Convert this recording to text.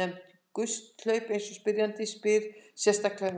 nefnd gusthlaup eins og spyrjandi spyr sérstaklega um.